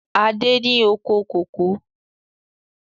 Adé ni oko kòkó